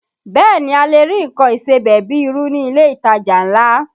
Bẹ́ẹ̀ ni, a lè rí nǹkan ìsebẹ̀ bíi irú ní ilé ìtajà ńlá